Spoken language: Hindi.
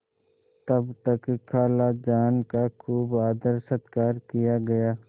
तब तक खालाजान का खूब आदरसत्कार किया गया